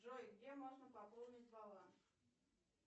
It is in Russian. джой где можно пополнить баланс